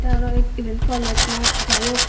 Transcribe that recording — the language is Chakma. te arow iben na kolej na jaiok.